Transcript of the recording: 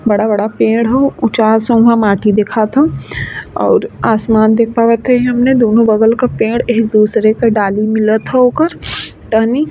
बड़ा बड़ा पेड़ है ऊचा माट्टी दिखत ह और आसमान भी दोनों बगल के पेड़ एक दूसरे के डाली मिलत हा ओकर टहनी |